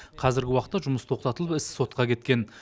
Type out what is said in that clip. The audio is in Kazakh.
қазіргі уақытта жұмыс тоқтатылып іс сотқа кеткен